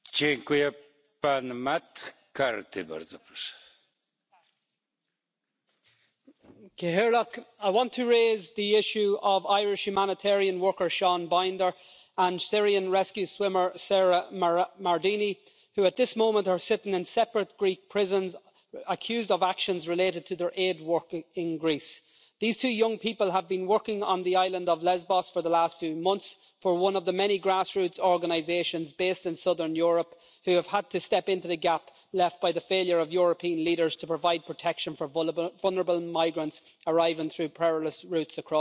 Mr President, I want to raise the issue of the Irish humanitarian worker, Sean Binder, and the Syrian rescue swimmer, Sarah Mardini, who at this moment are sitting in separate Greek prisons accused of actions related to their aid work in Greece. These two young people have been working on the island of Lesbos for the last few months for one of the many grassroots organisations based in southern Europe who have had to step into the gap left by the failure of European leaders to provide protection for vulnerable migrants arriving through perilous routes across the Mediterranean.